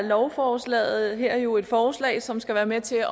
lovforslaget her jo et forslag som skal være med til